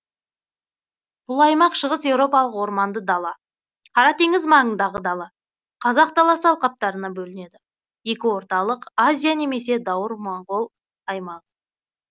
бұл аймақ шығыс еуропалық орманды дала қара теңіз маңындағы дала қазақ даласы алқаптарына бөлінеді екі орталық азия немесе даур моңғол аймағы